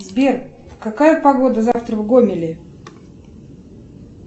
сбер какая погода завтра в гомеле